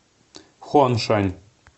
хуаншань